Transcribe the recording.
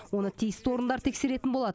оны тиісті орындар тексеретін болады